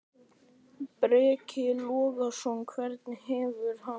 Breki Logason: Hvernig hefur hann það?